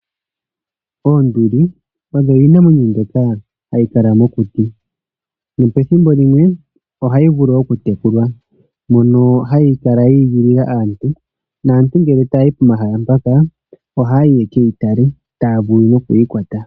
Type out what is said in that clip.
Oonduli odho iinamwenyo mbyoka hayi kala mokuti. Nopethimbo limwe ohayi vulu oku tekulwa. Yo ohayi kala yi igilila aantu, naantu ngele tayayi pomahala mpaka ohayi yekeyi tale taya vulu nokuyi kwata.